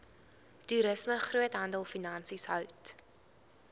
toerisme groothandelfinansies hout